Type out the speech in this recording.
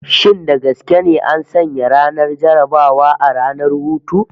Shin da gaske ne an sanya ranar jarrabawa a ranar hutu?